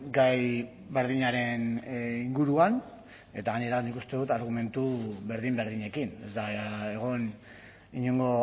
gai berdinaren inguruan eta gainera nik uste dut argumentu berdin berdinekin ez da egon inongo